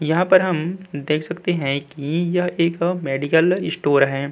यहाँ पर हम देख सकते है की यह एक मेडिकल इस्टोर हैं।